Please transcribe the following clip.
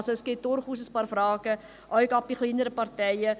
Es stellen sich durchaus ein paar Fragen, gerade für kleinere Parteien.